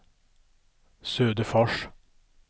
Söderfors